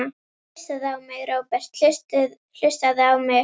Hlustaðu á mig, Róbert, hlustaðu á mig.